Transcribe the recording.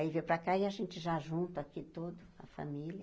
Aí, veio para cá e a gente já junta aqui tudo, a família.